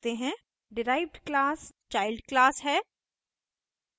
derived class child class है